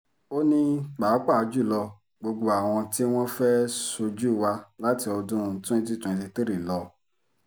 ó ní pàápàá jù lọ gbogbo àwọn tí wọ́n fẹ́ẹ́ ṣojú wa láti ọdún 2023 lọ